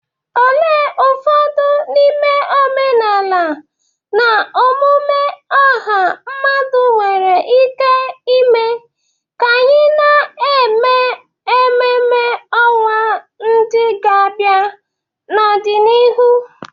Olee ụfọdụ n'ime omenala na omume ọha mmadụ nwere ike ime ka anyị na-eme ememme ọnwa ndị ga-abịa n'ọdịnihu?